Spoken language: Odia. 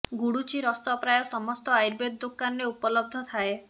ଗୁଡ଼ୁଚି ରସ ପ୍ରାୟ ସମସ୍ତ ଆୟୁର୍ବେଦ ଦୋକାନରେ ଉପଲବ୍ଧ ଥାଏ